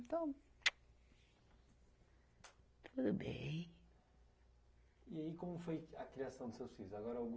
Então tudo bem. E aí como foi a criação dos seus filhos agora o